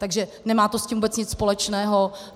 Takže nemá to s tím vůbec nic společného.